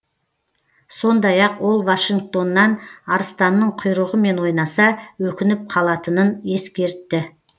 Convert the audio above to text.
сондай ақ ол вашингтоннан арыстанның құйрығымен ойнаса өкініп қалатынын ескертті